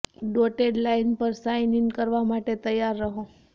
dotted line પર sign in કરવા માટે તૈયાર રહો